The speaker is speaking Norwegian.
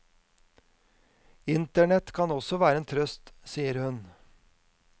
Internett kan også være en trøst, sier hun.